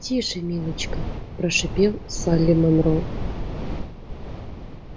тише милочка прошипел салли монро